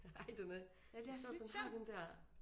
Ej den er det er sjovt den har den der